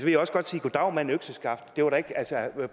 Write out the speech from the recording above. jeg også godt sige goddag mand økseskaft det var da ikke